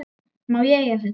Má ég eiga þetta?